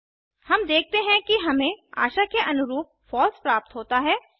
हम देखते हैं कि हमें आशा के अनुरूप फॉल्स प्राप्त होता है